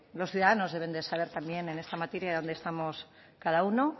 los ciudadanos deben de saber también en esta materia dónde estamos cada uno